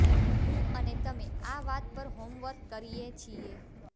હું અને તમે આ વાત પર હોમવર્ક કરીએ છીએ